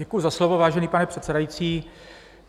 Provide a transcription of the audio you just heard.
Děkuji za slovo, vážený pane předsedající.